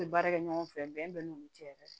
N bɛ baara kɛ ɲɔgɔn fɛ bɛn bɛ n'olu cɛ yɛrɛ